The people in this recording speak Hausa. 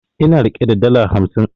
Ina rike da dala hamsin